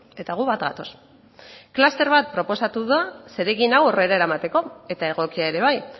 eta gu bat gatoz kluster bat proposatu da zeregin hau aurrera eramateko eta egokia ere bai